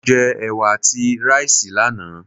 Mo jẹ Ẹ̀wà àti ráìsì lánàá.